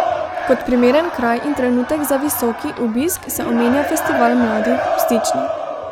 Kot primeren kraj in trenutek za visoki obisk se omenja festival mladih v Stični.